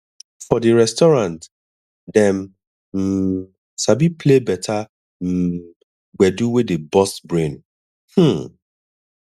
for di restaurant dem um sabi play better um gbedu wey dey burst brain um